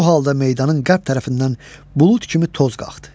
Bu halda meydanın qərb tərəfindən bulud kimi toz qalxdı.